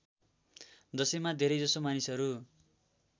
दशैँमा धेरैजसो मानिसहरू